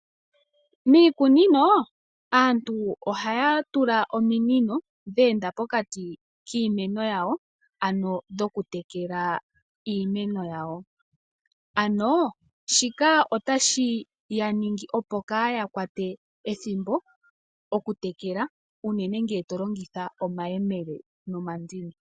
Miiku ninino aantu haya tula ominino dheenda pokati kiimeno yawo ano dhoku tekela iimeno yawo. Ano shika tashi yaningi opo kaya kwate ethimbo oku tekela unene ngele talongitha omayemele nomandini.